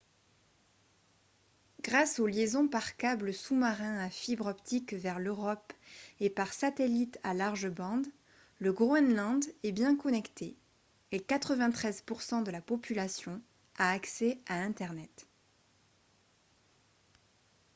grâce aux liaisons par câble sous-marin à fibre optique vers l'europe et par satellite à large bande le groenland est bien connecté et 93% de la population a accès à internet